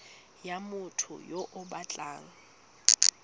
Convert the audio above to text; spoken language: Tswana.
ya motho yo o batlang